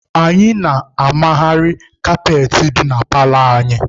Anyị na-amagharị kaapetị dị na paalọ anyị.